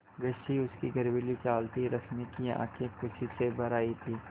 वैसी ही उसकी गर्वीली चाल थी रश्मि की आँखें खुशी से भर आई थीं